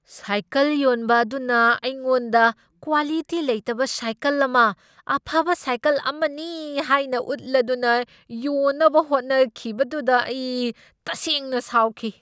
Cycle ꯌꯣꯟꯕ ꯑꯗꯨꯅ ꯑꯩꯉꯣꯟꯗ ꯀ꯭ꯋꯥꯂꯤꯇꯤ ꯂꯩꯇꯕ ꯁꯥꯏꯀꯜ ꯑꯃ ꯑꯐꯕ ꯁꯥꯏꯀꯜ ꯑꯃꯅꯤ ꯍꯥꯏꯅ ꯎꯠꯂꯗꯨꯅ ꯌꯣꯟꯅꯕ ꯍꯣꯠꯅꯈꯤꯕꯗꯨꯗ ꯑꯩ ꯇꯁꯩꯡꯅ ꯁꯥꯎꯈꯤ ꯫